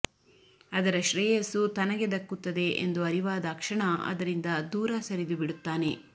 ಅದರ ಶ್ರೇಯಸ್ಸು ತನಗೆ ದಕ್ಕುತ್ತದೆ ಎಂದು ಅರಿವಾದಾಕ್ಷಣ ಅದರಿಂದ ದೂರ ಸರಿದುಬಿಡುತ್ತಾನೆ